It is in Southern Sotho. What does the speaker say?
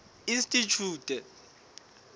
institjhute